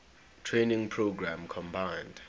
training program combined